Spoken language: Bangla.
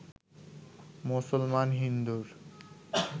মুসলমান হিন্দুর